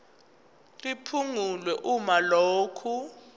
liphungulwe uma lokhu